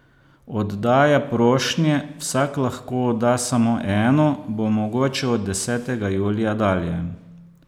Oddaja prošnje, vsak lahko odda samo eno, bo mogoča od desetega julija dalje.